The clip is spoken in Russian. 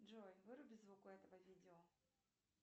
джой выруби звук у этого видео